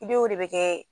I bɛ o de bɛ kɛ